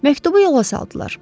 Məktubu yola saldılar.